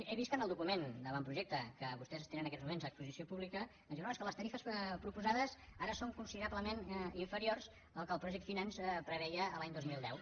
he vist que en el document d’avantprojecte que vostès tenen en aquests moments a exposició pública ens diuen no és que les tarifes proposades ara són considerablement inferiors al que el projecte preveia l’any dos mil deu